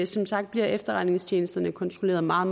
som sagt bliver efterretningstjenesterne kontrolleret meget